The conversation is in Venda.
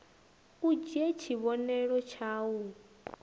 u dzhie tshivhonelo tshau d